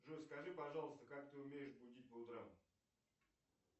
джой скажи пожалуйста как ты умеешь будить по утрам